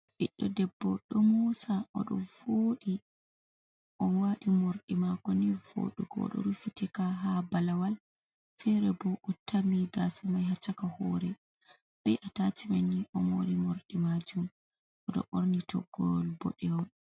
Ɓiɗɗo debbo ɗo moosa, o ɗo vooɗi o waati morɗi maako ni vooɗugo, o ɗo rufitika haa balawal, feere ɓo o tami gaasa mai haa shaka hoore, be a tashimen ni o moori morɗi maajum o ɗo ɓorni toggowol boɗewol.